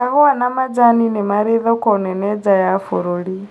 Kahũa na majani nĩmari thoko nene na nja ya bũrũri